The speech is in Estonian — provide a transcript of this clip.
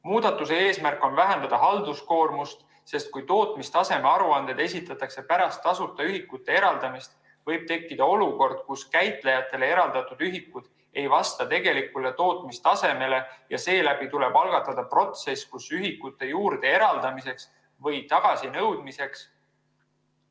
Muudatuse eesmärk on vähendada halduskoormust, sest kui tootmistaseme aruanded esitatakse pärast tasuta ühikute eraldamist, võib tekkida olukord, kus käitajatele eraldatud ühikud ei vasta tegelikule tootmistasemele ja seetõttu tuleb algatada protsess ühikute juurde eraldamiseks või tagasinõudmiseks.